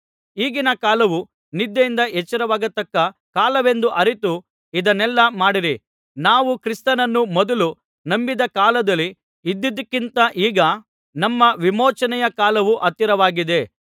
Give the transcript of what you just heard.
ಈಗಿನ ಕಾಲವು ನಿದ್ದೆಯಿಂದ ಎಚ್ಚರವಾಗಿರತಕ್ಕ ಕಾಲವೆಂದು ಅರಿತು ಇದನ್ನೆಲ್ಲಾ ಮಾಡಿರಿ ನಾವು ಕ್ರಿಸ್ತನನ್ನು ಮೊದಲು ನಂಬಿದ ಕಾಲದಲ್ಲಿ ಇದ್ದುದಕ್ಕಿಂತ ಈಗ ನಮ್ಮ ವಿಮೋಚನೆಯ ಕಾಲವು ಹತ್ತಿರವಾಗಿದೆ